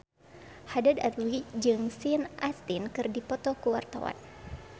Haddad Alwi jeung Sean Astin keur dipoto ku wartawan